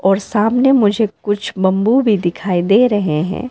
और सामने मुझे कुछ बंबू भी दिखाई दे रहे हैं।